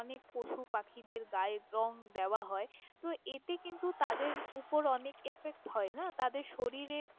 অনেক পশু পাখিদের গায়ে রঙ দেওয়া হয় তহ এতে কিন্তু তাদের উপর অনেক effect হয় না।